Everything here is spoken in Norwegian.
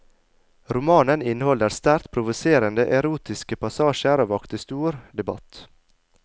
Romanen inneholder sterkt provoserende, erotiske passasjer og vakte stor debatt.